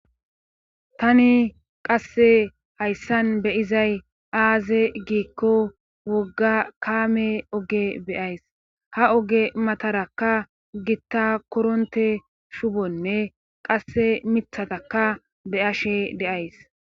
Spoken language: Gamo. tani qasse hayssan beyizay aaze giikko wogga kaame oge beyays ha oge matarakka gitta koronte shubonne qasse mithataka beyashe deays